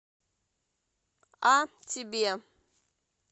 а тебе